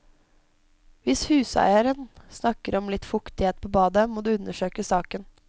Hvis huseieren snakker om litt fuktighet på badet, må du undersøke saken.